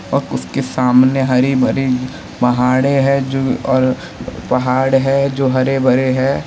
और उसके सामने हरी-भरी पहाड़े हैं जो और पहाड़ है जो हरे-भरे हैं।